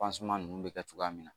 ninnu bɛ kɛ cogoya min na